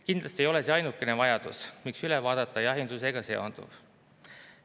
Kindlasti ei ole see ainukene vajadus, miks üle vaadata jahindusega seonduv.